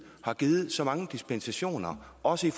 har givet så mange dispensationer også